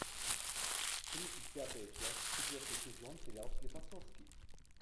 тридцать пятая часть четвертый сезон сериал склифосовский